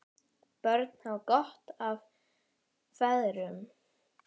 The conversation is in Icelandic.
Börn hafa gott af feðrum.